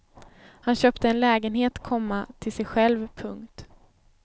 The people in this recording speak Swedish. Han köpte en lägenhet, komma till sig själv. punkt